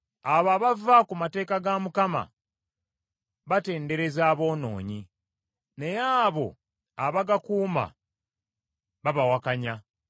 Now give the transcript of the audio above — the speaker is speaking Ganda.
Abo abava ku mateeka ga Mukama batendereza aboonoonyi, naye abo abagakuuma babawakanya.